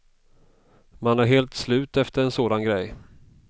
Man är helt slut efter en sådan grej.